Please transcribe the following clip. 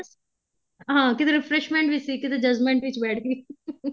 ਹਾਂ ਕਿਤੇ refreshment ਵਿੱਚ ਸੀ ਕਿਤੇ judgment ਵਿੱਚ ਲੱਗ ਗਈ